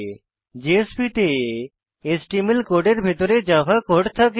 JSPs তে HTML কোডের ভিতরে জাভা কোড থাকে